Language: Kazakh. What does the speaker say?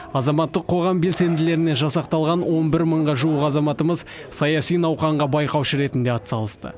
азаматтық қоғам белсенділерінен жасақталған он бір мыңға жуық азаматымыз саяси науқанға байқаушы ретінде атсалысты